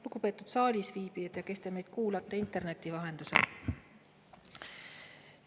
Lugupeetud saalis viibijad ja kõik, kes te meid kuulate interneti vahendusel!